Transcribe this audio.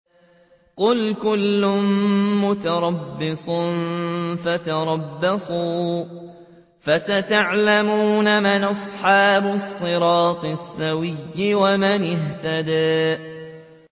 قُلْ كُلٌّ مُّتَرَبِّصٌ فَتَرَبَّصُوا ۖ فَسَتَعْلَمُونَ مَنْ أَصْحَابُ الصِّرَاطِ السَّوِيِّ وَمَنِ اهْتَدَىٰ